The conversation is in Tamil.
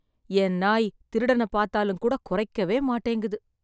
என் நாய் திருடன பாத்தாலும் கூட குறைக்கவே மாட்டேங்குது.